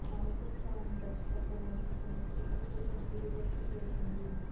మక్భూల్ ఖాన్ దర్శకత్వం వహిస్తున్న ఈ చిత్ర షూటింగ్ తుదిదశకు చేరుకుంది